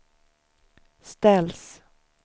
ställs